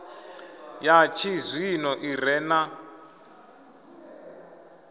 ya tshizwino i re na